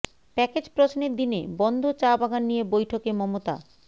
package প্রশ্নের দিনে বন্ধ চা বাগান নিয়ে বৈঠকে মমতা